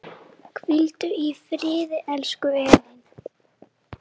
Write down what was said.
Hvíldu í friði, elsku Elín.